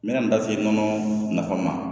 N bɛna n da se nɔnɔ nafa ma